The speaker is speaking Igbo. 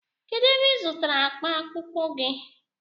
Kedụ ebe ị zụtara akpa akpụkpọ gị?